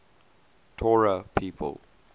torah people